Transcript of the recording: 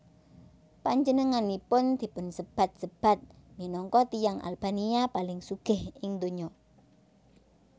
Panjenenganipun dipunsebat sebat minangka tiyang Albania paling sugih ing donya